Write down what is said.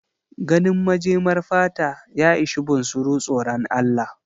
Ganin majemar fata ya ishe bunsuru tsoran Allah.